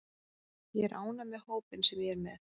Ég er ánægður með hópinn sem ég er með.